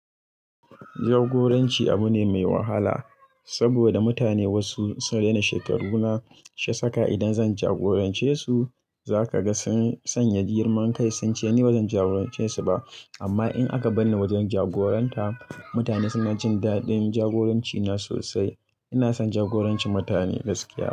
Jagoranci abu ne mai wahala saboda mutane wasu sun rena shekaru na shiya saka idan zan jagorance su zaka ga sun sanya girmankai sun ce ni bazan jagorance su ba amma in aka bar ni wajen jagoranta mutane suna jin daɗin jagorancina sosai. Ina son jagorancin mutane gaskiya.